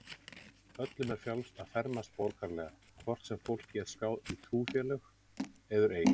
Öllum er frjálst að fermast borgaralega, hvort sem fólk er skráð í trúfélög eður ei.